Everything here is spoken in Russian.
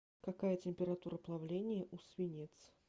какая температура плавления у свинец